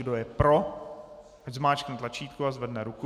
Kdo je pro, ať zmáčkne tlačítko a zvedne ruku.